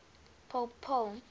pope paul